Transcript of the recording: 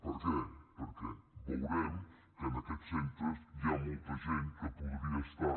per què perquè veurem que en aquests centres hi ha molta gent que podria estar